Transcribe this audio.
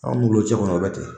Anw n'u bolobcɛ kɔni o bɛ ten